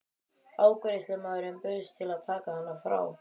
Afgreiðslumaðurinn bauðst til að taka hana frá.